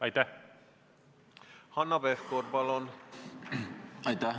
Aitäh!